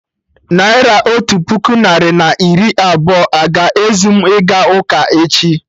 Naira otu puku narị na iri abụọ a-ga ezu mụ ịga ụka echi?